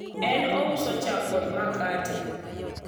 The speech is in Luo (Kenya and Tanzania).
en ouso chak kod makate